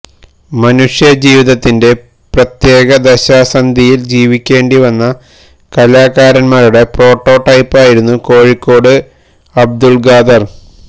മനുഷ്യ ജീവിതത്തിന്റെ പ്രത്യേക ദശാസന്ധിയില് ജീവിക്കേണ്ടി വന്ന കലാകാരന്മാരുടെ പ്രോട്ടോ ടൈപ്പായിരുന്നു കോഴിക്കോട് അബ്ദുള് ഖാദര്